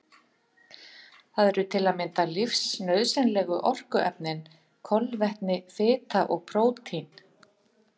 Það eru til að mynda lífsnauðsynlegu orkuefnin kolvetni, fita og prótín.